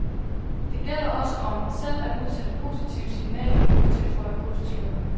Det gælder også om selv at udsende positive signaler, tilføjer kursuslederen.